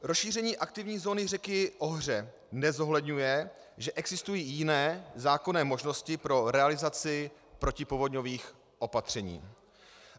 Rozšíření aktivní zóny řeky Ohře nezohledňuje, že existují jiné zákonné možnosti pro realizaci protipovodňových opatření.